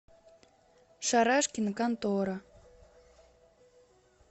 шарашкина контора